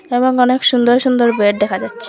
এবং অনেক সুন্দর সুন্দর বেড দেখা যাচ্ছে।